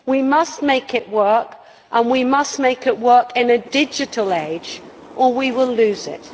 We must make it work, and we must make it work in a digital age, or we will lose it.